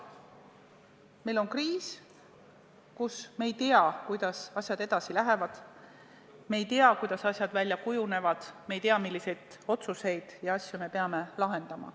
Meil on kriis, kus me ei tea, kuidas asjad edasi lähevad, me ei tea, kuidas asjad välja kujunevad, me ei tea, milliseid probleeme me peame lahendama.